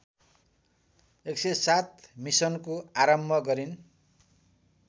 १०७ मिसनको आरम्भ गरिन्